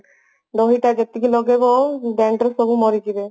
ଦହି ଟା ଯେତିକି ଲଗେଇବ dandruff ସେତିକି ମରିଯିବ